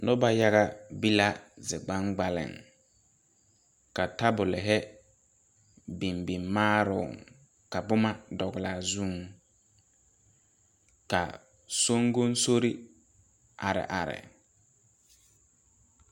Noba yaga be la zi gbaŋgbaliŋ ka tabolehi biŋ biŋ maaroŋ ka bomma dɔglaa zuŋ ka soŋgoŋsorre are are.